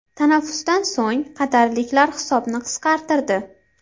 Tanaffusdan so‘ng qatarliklar hisobni qisqartirdi.